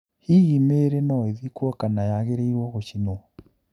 Hihi mĩĩri no-ĩthikwo kana yagĩrĩirwo gũcinwo?